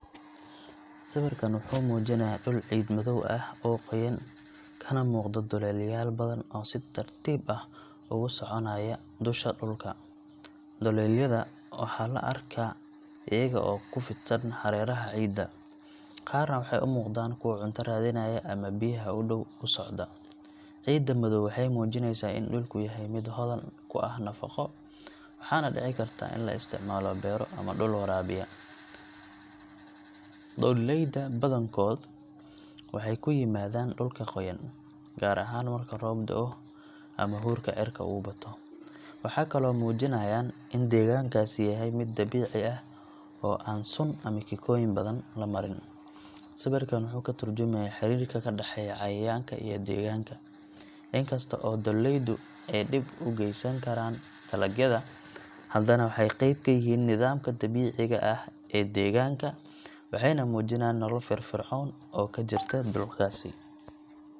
Sawirkan wuxuu muujinayaa dhul ciid madow ah oo qoyan, kana muuqda doolleyaal badan oo si tartiib ah uga soconaya dusha dhulka. Doolleyda waxaa la arkaa iyaga oo ku fidsan hareeraha ciidda, qaarna waxay u muuqdaan kuwo cunto raadinaya ama biyaha u dhow u socda. Ciidda madow waxay muujinaysaa in dhulku yahay mid hodan ku ah nafaqo, waxaana dhici karta in la isticmaalo beero ama dhul waraabiya. Doolleyda badankood waxay ku yimaadaan dhulka qoyan, gaar ahaan marka roob da’o ama huurka cirka uu bato. Waxay kaloo muujinayaan in deegaankaasi yahay mid dabiici ah oo aan sun ama kiimikooyin badan la marin. Sawirkan wuxuu ka tarjumayaa xiriirka ka dhexeeya cayayaanka iyo deegaanka. In kasta oo doolleydu ay dhib u geysan karaan dalagyada, haddana waxay qayb ka yihiin nidaamka dabiiciga ah ee deegaanka, waxayna muujinayaan nolol firfircoon oo ka jirta dhulkaasi.